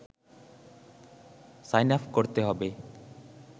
sign up করতে হবে